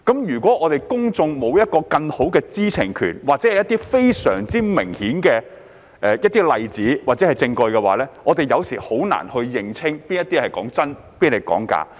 如果公眾沒有更大的知情權或非常明顯的例子或證據，有時候很難認清哪些信息是真、哪些是假。